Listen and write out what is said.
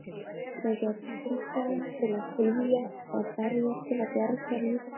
Það birtist meðal annars í umtalsverðri tíðni kímblaðra sem ekki þroskast eðlilega og fósturláta.